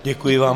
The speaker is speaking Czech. Děkuji vám.